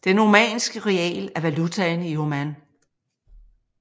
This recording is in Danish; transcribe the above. Den Omanske rial er valutaen i Oman